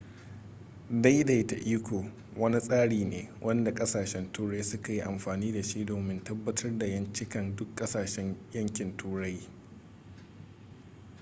daidaita iko wani tsari ne wanda kasashen turai suka yi amfani da shi domin tabbatar da ƴancinkan duk ƙasshen yankin turai